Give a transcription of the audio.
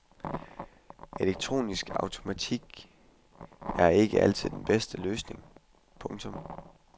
Elektronisk automatik er ikke altid den bedste løsning. punktum